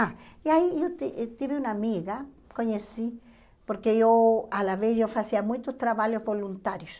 Ah, e aí eu ti tive uma amiga, conheci, porque eu, à la vez, eu fazia muitos trabalhos voluntários.